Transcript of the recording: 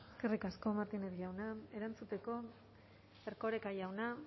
eskerrik asko martínez jauna erantzuteko erkoreka jauna